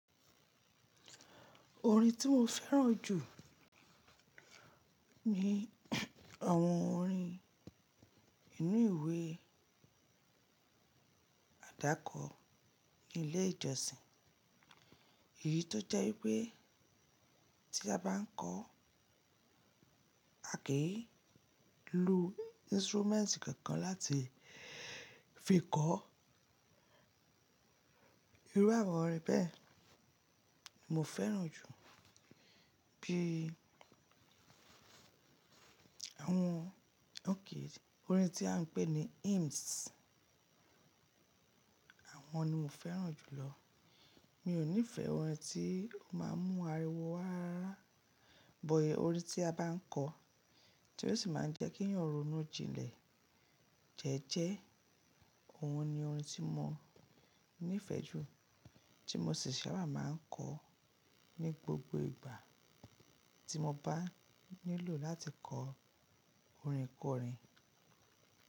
Orin tí mo fẹ́ràn jù ni àwọn orin inú ìwé àdákọ ní ilé ìjọsìn. Èyí tó jẹ́ wípé tí a bá ń kọ́, a kì í lo instruments kankan láti fi kọ. Irú àwọn orin bẹ́ẹ̀ mo fẹ́ràn jù bí i àwọn óké orin tí à ń pè ní hymns. Àwọn ni mo fẹ́ràn jùlọ. Mi ò nífẹ̀ẹ́ orin tí ó máa ń mú ariwo wá rárá, bọ̀ yẹn orin tí a bá ń kọ, tí ó sì máa ń jẹ́ kí ẹ̀yàn ronú jinlẹ̀ jẹ́ẹ́jẹ́. Òun ni orin tí mo nífẹ̀ẹ́ jù, tí mo sì sábà máa ń kọ ní gbogbo ìgbà tí mo bá nílò láti kọ orin kọrin.